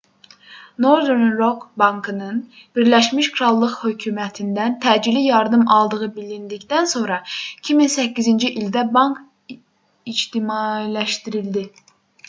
northern rock bankının birləşmiş krallıq hökumətindən təcili yardım aldığı bilindikdən sonra 2008-ci ildə bank ictimailəşdirildi